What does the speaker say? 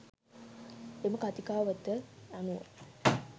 එම කතිකාවත අනුව